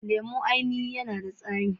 Lemon ainihin yanada tsami.